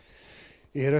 eru